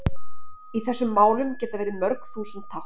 Í þessum málum geta verið mörg þúsund tákn.